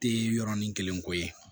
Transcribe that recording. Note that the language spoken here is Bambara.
Tɛ yɔrɔnin kelen ko ye